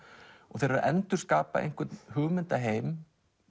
þeir eru að endurskapa einhvern hugmyndaheim